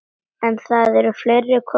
En það eru fleiri kostir.